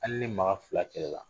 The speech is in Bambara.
Hali ni maa fila kɛlɛ la